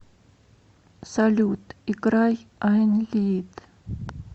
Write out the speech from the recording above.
салют играй айн лид